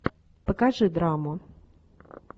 покажи драму